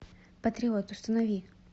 патриот установи